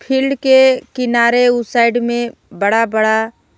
field के किनारे उ में साइड में बड़ा बड़ा--